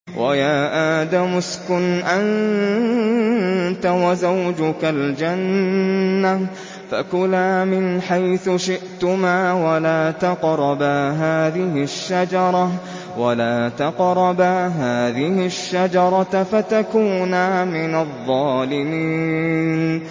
وَيَا آدَمُ اسْكُنْ أَنتَ وَزَوْجُكَ الْجَنَّةَ فَكُلَا مِنْ حَيْثُ شِئْتُمَا وَلَا تَقْرَبَا هَٰذِهِ الشَّجَرَةَ فَتَكُونَا مِنَ الظَّالِمِينَ